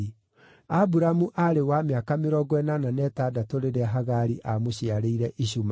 Aburamu aarĩ wa mĩaka mĩrongo ĩnana na ĩtandatũ rĩrĩa Hagari aamũciarĩire Ishumaeli.